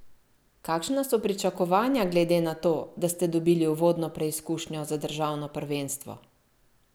Kakšna so pričakovanja glede na to, da ste dobili uvodno preizkušnjo za državno prvenstvo?